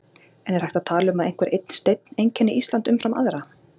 En er hægt að tala um að einhver einn steinn einkenni Ísland umfram aðra?